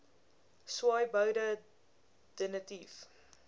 swaaiboude de nitief